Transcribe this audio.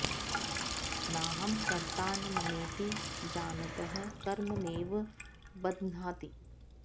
नाहं कर्ता न ममेति जानतः कर्म नैव बध्नाति